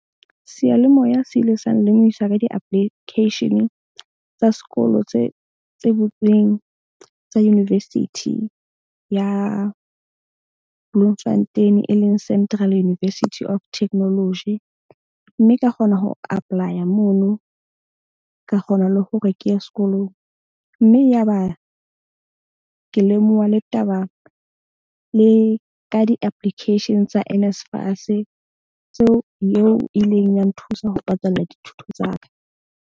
Seyalemoya se ile sa nlemohisa ka di-application tsa sekolo tse butsweng tsa University ya Bloemfontein, e leng Central University of Technology. Mme ka kgona ho apply-a mono ka kgona le hore ke ye sekolong. Mme ya ba ke lemoha le taba le ka di-application tsa Nsfas. Tseo eo ileng ya nthusa ho patalla dithuto tsa ka.